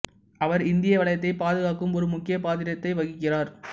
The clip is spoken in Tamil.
அவர் இந்திய வளையத்தைப் பாதுகாக்கும் ஒரு முக்கியப் பாத்திரத்தை வகிக்கிறார்